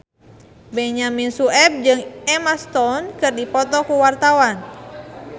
Benyamin Sueb jeung Emma Stone keur dipoto ku wartawan